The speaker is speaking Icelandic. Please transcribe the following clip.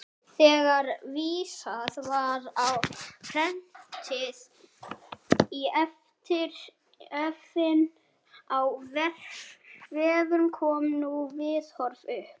Þegar vísað er á prenti í efni á vefnum koma ný viðhorf upp.